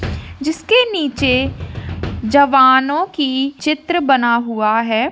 जिसके नीचे जवानों की चित्र बना हुआ है।